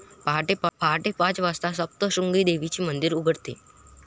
पाहटे पाच वाजता सप्तशृंगी देवीचे मंदिर उघडते.